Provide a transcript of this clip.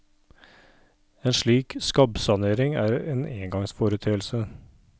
En slik skabbsanering er en engangsforeteelse.